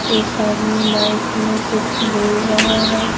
एक आदमी माइक में कुछ बोल रहा है।